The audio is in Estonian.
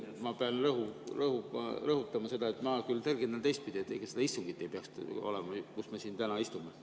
Ma pean küll rõhutama, et mina tõlgendan teistpidi, et seda istungit ei peaks olema, kuigi me siin täna istume.